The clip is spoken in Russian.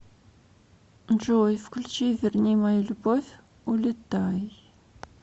джой включи верни мою любовь улетай